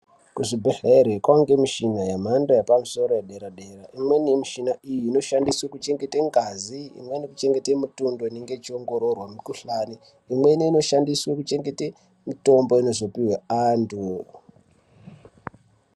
Ku zvibhedhleri kwange mushina ye mhando yepa musoro ye dera dera imweni ye mishina iyi ino shandiswe ku chengete ngazi imweni ku chengete mutundo inenge ichi ongororwa mu kuhlani imweni ino shandiswe ku chengete mitombo inozo pihwe antu.